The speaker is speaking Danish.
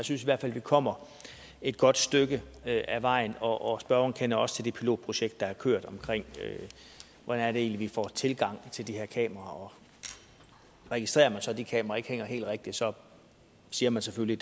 synes i hvert fald at vi kommer et godt stykke ad vejen og spørgeren kender også til det pilotprojekt der har kørt om hvordan det egentlig er vi får tilgang til de her kameraer og registrerer man så at de kameraer ikke hænger helt rigtigt siger man selvfølgelig